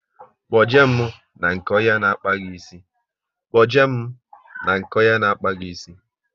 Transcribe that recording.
Kpo je mụ na nke onye n'akpa gi ísì